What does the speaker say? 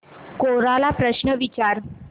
कोरा ला प्रश्न विचार